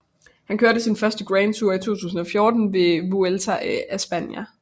Han kørte sin første Grand Tour i 2014 ved Vuelta a España